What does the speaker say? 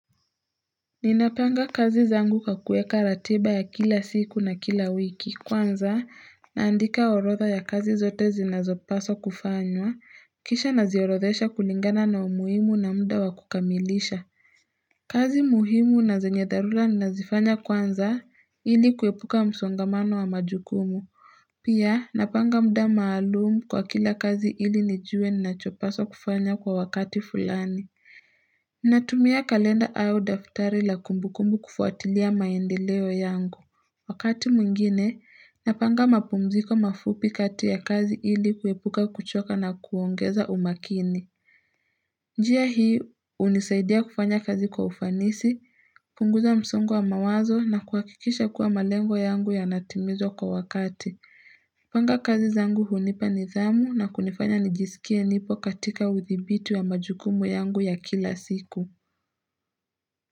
Ninapanga kazi zangu kwa kueka ratiba ya kila siku na kila wiki kwanza naandika orodha ya kazi zote zinazopaswa kufanywa kisha naziorodhesha kulingana na umuhimu na muda wa kukamilisha kazi muhimu na zenye dharula ninazifanya kwanza ili kuepuka msongamano wa majukumu Pia napanga muda maalumu kwa kila kazi ili nijue ninachopaswa kufanya kwa wakati fulani Nayumia kalenda au daftari la kumbukumbu kufuatilia maendeleo yangu Wakati mwingine, napanga mapumziko mafupi kati ya kazi ili kuepuka kuchoka na kuongeza umakini njia hii hunisaidia kufanya kazi kwa ufanisi, kupunguza msongo wa mawazo na kuhakikisha kuwa malengo yangu yanatimizwa kwa wakati kupanga kazi zangu hunipa nidhamu na kunifanya nijisikie nipo katika uthibiti wa majukumu yangu ya kila siku.